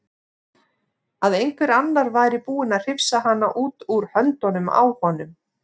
Að einhver annar væri búinn að hrifsa hana út úr höndunum á honum.